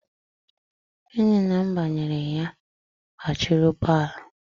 Enyi nna m bunyere ya batịrị ụgbọala.